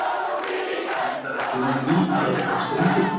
Endar ekki með því að eitthvað springur?